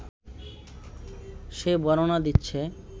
সে বর্ণনা দিচ্ছে